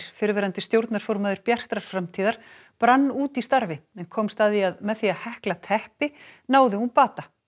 fyrrverandi stjórnarformaður Bjartrar framtíðar brann út í starfi en komst að því að með því að hekla teppi náði hún bata